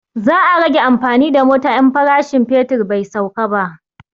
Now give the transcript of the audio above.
Za a rage amfani da mota in farashin fetur bai sauka ba